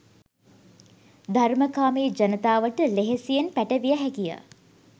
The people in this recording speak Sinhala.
ධර්මකාමී ජනතාවට ලෙහෙසියෙන් පැටවිය හැකිය.